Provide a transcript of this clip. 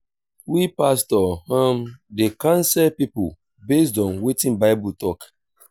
we pastor um dey counsel pipo based on wetin bible tok.